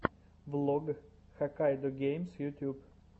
влог хаккайдогеймс ютьюб